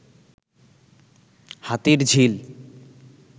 Hatirjheel